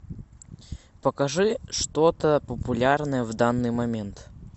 покажи что то популярное в данный момент